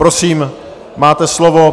Prosím, máte slovo.